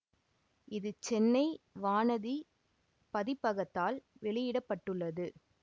இது சென்னை வானதி பதிப்பகத்தால் வெளியிட பட்டுள்ளது